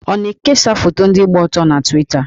Ọ na-ekesa foto ndị gba ọtọ na Twita?